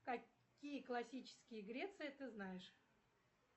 какие классические греции ты знаешь